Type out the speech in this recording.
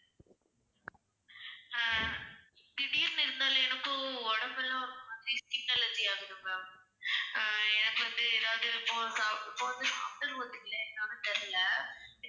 அஹ் திடீர்னு இருந்தாலும் எனக்கும் உடம்பெல்லாம் ஒரு மாதிரி skin allergy ஆகுது ma'am ஆஹ் எனக்கு வந்து ஏதாவது இப்ப சா~ இப்ப வந்து சாப்பிட்டது ஒத்துக்கலையா என்னனு தெரியல